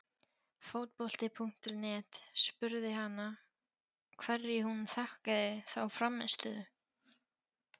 Fótbolti.net spurði hana hverju hún þakkaði þá frammistöðu?